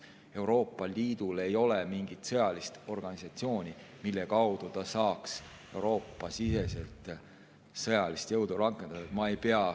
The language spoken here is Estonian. Euroopa Liidul ei ole mingit sõjalist organisatsiooni, mille kaudu ta saaks Euroopa-siseselt sõjalist jõudu rakendada.